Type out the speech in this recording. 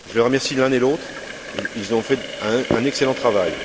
Je les remercie l'un et l'autre, ils ont fait un excellent travail.